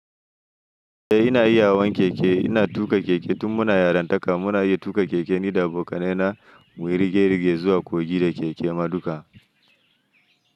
Eh ina iya hawan keke, ina tuƙa keke tun muna yarantaka muna iya tuƙa keke ni da abokanai na muyi rige-rige zuwa kogi da keke ma duka.